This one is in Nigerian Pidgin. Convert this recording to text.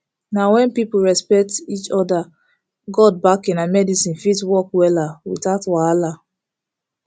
na when people respect each other god backing and medicine fit work wella without wahala